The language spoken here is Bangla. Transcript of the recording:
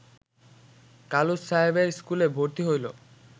কালুস সাহেবের স্কুলে ভর্তি হইল